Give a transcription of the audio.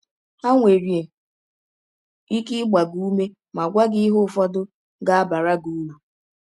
Ha nwere ike ịgba gị ụme ma gwa gị ihe ụfọdụ ga - abara gị ụrụ.